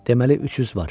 Deməli, 300 var.